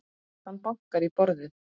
Hann bankar í borðið.